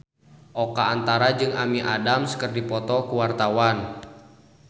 Oka Antara jeung Amy Adams keur dipoto ku wartawan